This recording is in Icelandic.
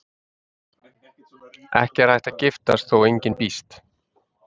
Ekki er hægt að giftast þá engin býst.